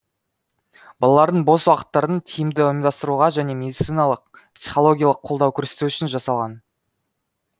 балалардың бос уақыттарын тиімді ұйымдастыруға және медициналық психологиялық қолдау көрсету үшін жағдай жасалған